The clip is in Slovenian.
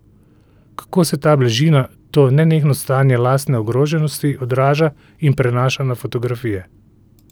Kako se ta bližina, to nenehno stanje lastne ogroženosti odraža in prenaša na fotografije?